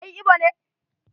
Kai Igbo ne?